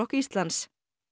Íslands